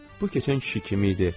Bu keçən kişi kim idi?